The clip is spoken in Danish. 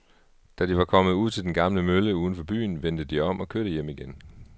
Da de var kommet ud til den gamle mølle uden for byen, vendte de om og kørte hjem igen.